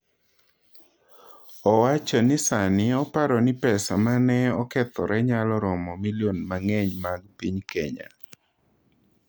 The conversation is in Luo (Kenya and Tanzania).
Owacho ni sani oparo ni pesa ma ne okethore nyalo romo milioni mang’eny mag piny Kenya.